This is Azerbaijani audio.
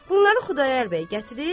Bunları Xudayar bəy gətirib.